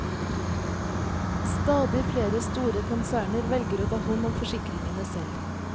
Stadig flere store konserner velger å ta hånd om forsikringene selv.